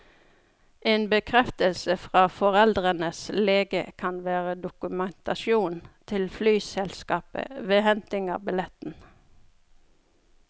En bekreftelse fra foreldrenes lege kan være dokumentasjon til flyselskapet ved henting av billetten.